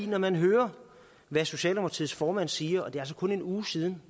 når man hører hvad socialdemokratiets formand siger og det er altså kun en uge siden